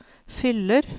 fyller